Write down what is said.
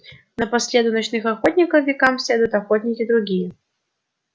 но по следу ночных охотников векам следуют охотники другие